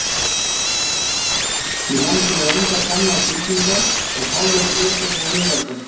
Í landinu eru engar gamlar byggingar og fáir gripir frá miðöldum.